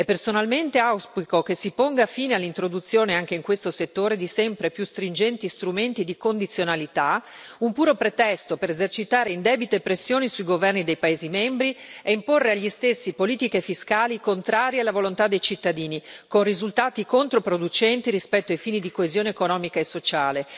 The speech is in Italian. Personalmente auspico che si ponga fine all'introduzione, anche in questo settore, di sempre più stringenti strumenti di condizionalità, un puro pretesto per esercitare indebite pressioni sui governi dei paesi membri e imporre agli stessi politiche fiscali contrarie alla volontà dei cittadini, con risultati controproducenti rispetto ai fini di coesione economica e sociale.